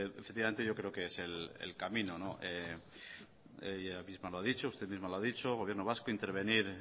efectivamente yo creo que es el camino ella misma lo ha dicho usted misma lo ha dicho el gobierno vasco intervenir